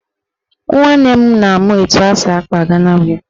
Nwanne m na-amụ etu esi akpa Gana wevin